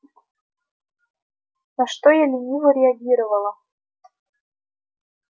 на что я лениво реагировала